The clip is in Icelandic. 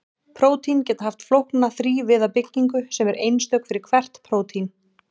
prótín geta haft flókna þrívíða byggingu sem er einstök fyrir hvert prótín